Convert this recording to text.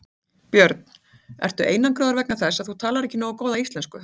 Björn: Ertu einangraður vegna þess að þú talar ekki nógu góða íslensku?